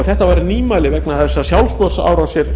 þetta voru nýmæli því sjálfsmorðsárásir